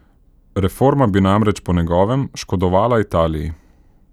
Reforma bi namreč po njegovem škodovala Italiji.